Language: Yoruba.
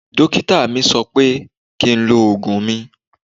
Dókítà mi sọ pé kí n lo oògùn mi